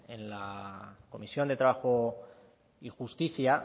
en la comisión de trabajo y justicia